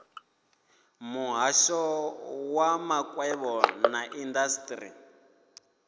muhasho wa makwevho na indasiteri